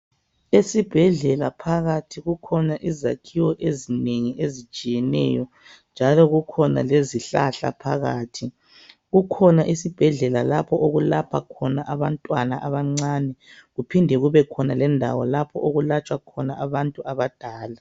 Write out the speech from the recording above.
Esibhedlela phakathi kukhona izakhiwo ezinengi ezitshiyeneyo njalo kukhona lezihlahla phakathi kukhona isibhedlela lapho okulapha khona abantwana abancani kuphinde kube khona lendawo okulatshwa khona abantu abadala.